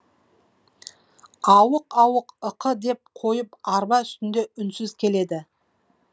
ауық ауық ықы деп қойып арба үстінде үнсіз келеді